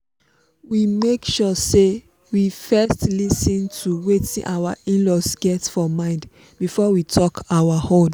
we make sure say we first lis ten to wetin our in-laws get for mind before we talk our own